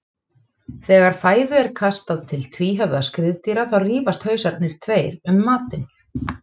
Þegar fæðu er kastað til tvíhöfða skriðdýra þá rífast hausarnir tveir um matinn.